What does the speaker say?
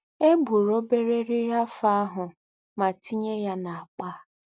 Egburu obere eriri afọ ahụ ma tinye ya na akpa.